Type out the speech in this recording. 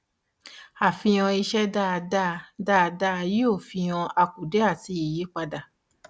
àfihàn iṣẹ́ dáadáa dáadáa yóò fihan àkùdé àti ìyapa.